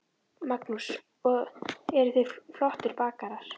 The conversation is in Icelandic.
Magnús: Og eru þið flottir bakarar?